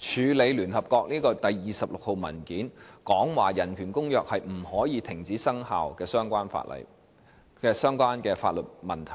處理委員會第26號一般性意見指出《公約》不能停止生效的相關法律問題。